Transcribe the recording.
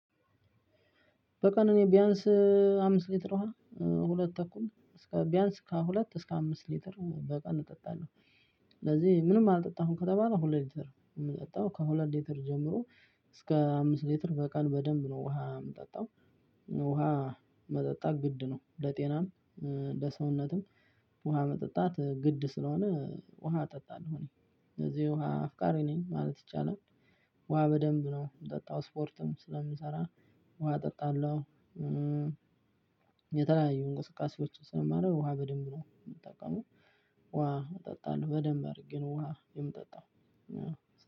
በቀን እኔ ቢያንስ አምስት ሊትር ውሃ ሁለት ተኩል እስከ ቢያንስ ከሁለት እስከ አምስት ሊትር በቀን እጠጣለሁ። ስለዚህ ምንም አልጠጣሁም ከተባለ ሁለት ሊትር የምጠጣው ከሁለት ሊትር ጀምሮ እስከ አምስት ሊትር በቀን በደንብ ነው ውሃ የምጠጣው። ውሃ መጠጣት ግድ ነው ለጤናም ለሰውነትም ውሃ መጠጣት ግድ ስለሆነ ውሃ እጠጣለሁ። ስለዚህ ውሃ አፍቃሪ ነኝ ማለት ይቻላል። ውሃ በደንብ ነው የምጠጣው ስፖርትም ስለምንሰራ ውሃ እጠጣለሁ። የተለያዩ እንቅስቃሴዎች ስለማረግ ውሃ በደንብ ነው የምጠቀመው። ውሃ እጠጣለሁ በደንብ አድርጌ ነው ውሃ የምጠጣው።